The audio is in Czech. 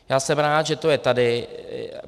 Já jsem rád, že to je tady.